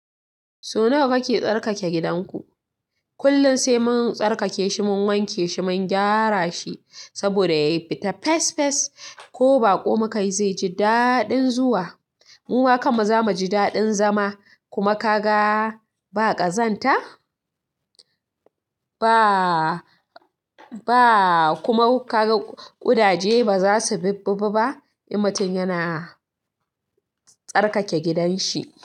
So nawa kake tsarkake gidanku? Kullum sai mun tsarkake shi, mun wanke shi, mun gyara shi saboda ya yi fita fes fes ko baƙo makai zai ji daɗin zuwa. Mu ma kan mu ba za mu ji daɗin zama kuma ka ga ba ƙazanta, ba ba kuma ka ga ƙudaje ba za su bibbi ba. Mutum yana tsarkake gidan shi.